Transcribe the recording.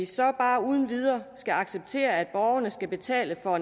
så bare uden videre skal acceptere at borgerne skal betale for